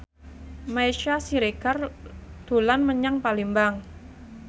Meisya Siregar dolan menyang Palembang